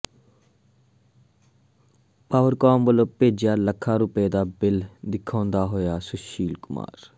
Powercom ਵੱਲੋਂ ਭੇਜਿਆ ਲੱਖਾਂ ਰੁਪਏ ਦਾ ਬਿਲ ਦਿਖਾਉਂਦਾ ਹੋਇਆ ਸੁਸ਼ੀਲ ਕੁਮਾਰ